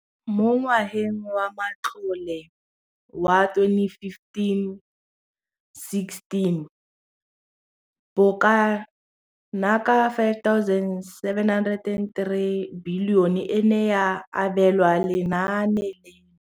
Mo ngwageng wa matlole wa 2015 16, bokanaka 5 703 bilione e ne ya abelwa lenaane leno.